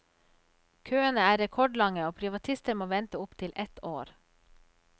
Køene er rekordlange, og privatister må vente opptil ett år.